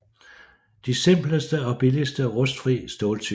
De simpleste og billigste rustfri ståltyper